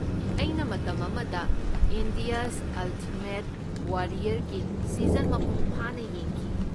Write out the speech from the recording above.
ꯑꯩꯅ ꯃꯇꯝ ꯑꯃꯗ 'ꯏꯟꯗꯤꯌꯥꯁ ꯑꯜꯇꯤꯃꯦꯠ ꯋꯥꯔꯤꯌꯔ"ꯒꯤ ꯁꯤꯖꯟ ꯃꯄꯨꯡꯐꯥꯅ ꯌꯦꯡꯈꯤ꯫